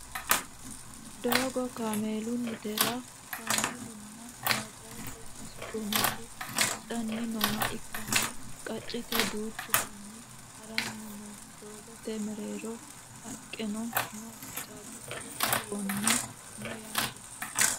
doogo kameelunnitera kameelunna bajaaje sasu goommiti hadhanni nooha ikkanna qaccete duuchu manni haranni no doogote mereero haqqeno no caabbichu shiwono no yaate